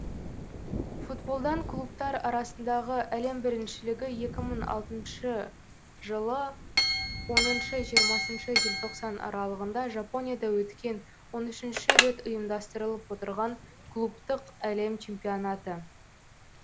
футболдан клубтар арасындағы әлем біріншілігі екі мың алтыншы жылы оныншы жиырмасыншы желтоқсан аралығында жапонияда өткен он үшінші рет ұйымдастырылып отырған клубтық әлем чемпионаты